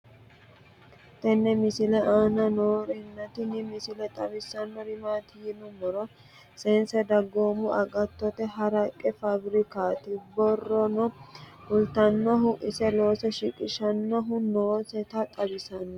tenne misile aana noorina tini misile xawissannori maati yinummoro since dagoimmu agaattotte haraqe faabbirikkatti borronno kulittannohu ise loose shiqqishshannohu noossetta xawissanno